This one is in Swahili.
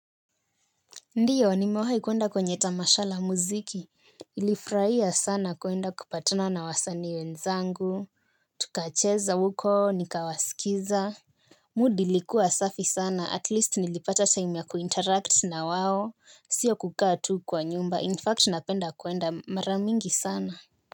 Ndiyo nimewaha ikuenda kwenye tamasha la muziki nilifurahia sana kwenda kupatana na wasanii wenzangu. Tukacheza huko nikawasikiza Mudi ilikuwa safi sana at least nilipata time ya kuinteract na wao. Sio kukaa tu kwa nyumba in fact napenda kwenda mara mingi sana.